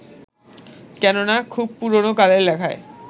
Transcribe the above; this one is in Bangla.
কেননা, খুব পুরোনো কালের লেখায়